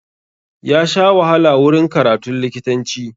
Ya sha wahala wurin karatun likitanci.